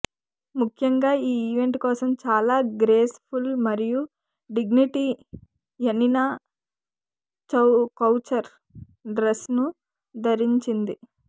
ముఖ్యంగా ఈ ఈవెంట్ కోసం చాలా గ్రేస్ ఫుల్ మరియు డిగ్నిటీ యనినా కౌచర్ డ్రెస్సును ధరించింది